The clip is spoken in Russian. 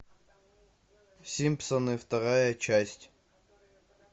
симпсоны вторая часть